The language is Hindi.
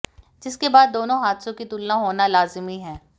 जिसके बाद दोनों हादसों की तुलना होना लाजिमी है